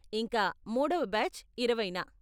ఇంకా, మూడవ బ్యాచ్ ఇరవైన.